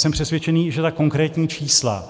Jsem přesvědčen, že ta konkrétní čísla,